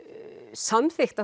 samþykkt